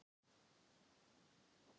Mér gengur illa að lesa og dreifa huganum.